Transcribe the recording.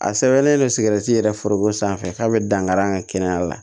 A sɛbɛnlen don yɛrɛ foroko sanfɛ k'a be dankari an ka kɛnɛya la